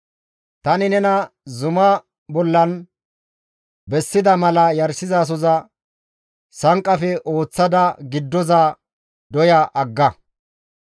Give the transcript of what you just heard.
Tani nena zumaa bollan bessida mala yarshizasoza sanqqafe ooththada giddoza doya agga.